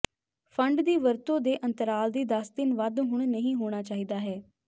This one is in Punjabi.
ਫੰਡ ਦੀ ਵਰਤੋ ਦੇ ਅੰਤਰਾਲ ਦੀ ਦਸ ਦਿਨ ਵੱਧ ਹੁਣ ਨਹੀ ਹੋਣਾ ਚਾਹੀਦਾ ਹੈ